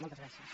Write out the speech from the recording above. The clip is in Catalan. moltes gràcies